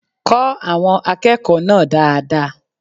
Kọ àwọn akẹ́kọ̀ọ́ náà dáadáa